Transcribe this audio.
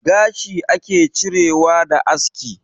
Gashi ake cirewa da aska